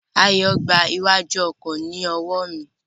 Ayo n gba iwájú ọkọ ni owo mi.